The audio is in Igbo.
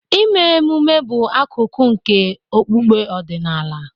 Ime ememe bụ akụkụ nke okpukpe ọdịnala.